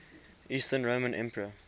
eastern roman emperor